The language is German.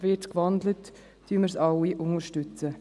Wird gewandelt, werden wir diesen alle unterstützen.